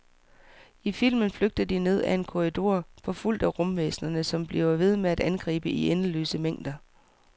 I filmen flygter de ned ad en korridor, forfulgt af rumvæsnerne, som bliver ved med at angribe i endeløse mængder.